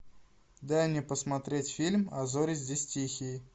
дай мне посмотреть фильм а зори здесь тихие